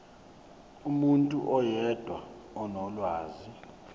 umuntu oyedwa onolwazi